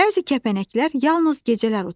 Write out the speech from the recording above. Bəzi kəpənəklər yalnız gecələr uçur.